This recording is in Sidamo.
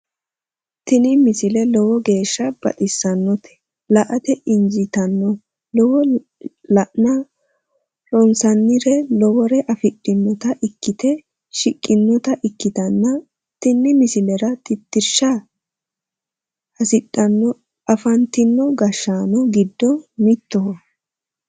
tini misile lowo geeshsha baxissannote la"ate injiitanno woy la'ne ronsannire lowore afidhinota ikkite shiqqinota ikkitanna tini misilera tittirsha hasidhanno afantino gashshaano giddo mittoho.